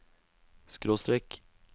skråstrek